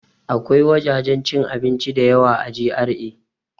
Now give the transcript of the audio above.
Akwai wajajen cin abinci da yawa a GRA